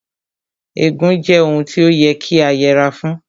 Ègún jẹ́ ohun tí ó yẹ kí a yẹra fún